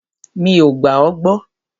Mí o gbà à gbọ.